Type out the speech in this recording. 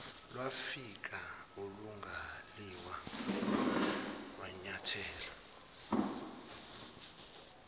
lwafika olingaliwa wanyathela